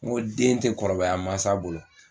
N ko den ti kɔrɔbaya mansa bolo